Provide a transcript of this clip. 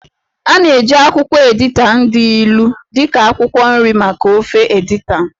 A na-eji akwụkwọ editan dị ilu dị ka akwụkwọ nri maka ofe editan.